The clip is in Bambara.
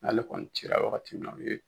N'ale kɔni ci la wagati min na o ye